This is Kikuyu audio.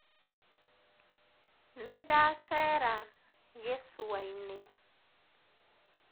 Nĩndacera gĩcũainĩ.